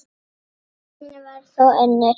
Raunin varð þó önnur.